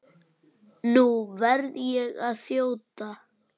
Nú verð ég að þjóta.